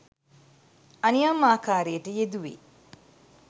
අනියම් ආකාරයට යෙදුවේ